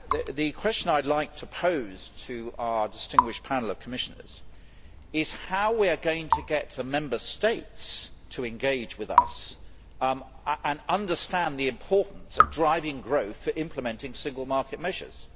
The question I would like to pose to our distinguished panel of Commissioners is how are we going to get the Member States to engage with us and understand the importance of driving growth for implementing single market measures?